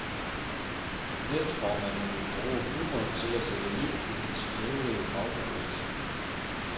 Næstformanden vil bruge humor til at sætte liv i den støvede fagbevægelse.